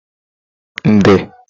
nde